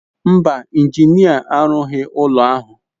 Mba, injinia arụghị ụlọ ahụ.